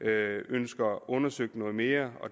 ønsker undersøgt noget mere